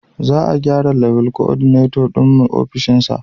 Za a gyrawa Level Coordinator din mu ofishin shi